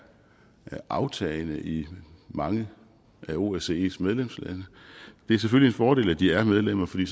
aftagende i mange af osces medlemslande det er selvfølgelig en fordel at de er medlemmer fordi